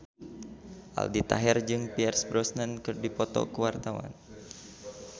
Aldi Taher jeung Pierce Brosnan keur dipoto ku wartawan